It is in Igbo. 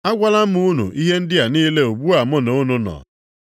“Agwala m unu ihe ndị a niile ugbu a mụ na unu nọ.